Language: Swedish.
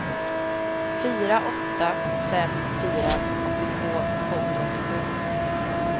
fyra åtta fem fyra åttiotvå tvåhundraåttiosju